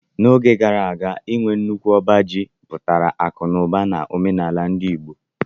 N'oge gara aga, inwe nnukwu ọba ji pụtara akụ na ụba n'omenala ndi Igbo